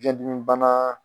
Biɲɛn dimi banna